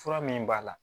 Fura min b'a la